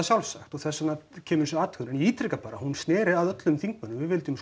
sjálfsagt og þess vegna kemur þessi athugun en ég ítreka bara hún snéri að öllum þingmönnum við vildum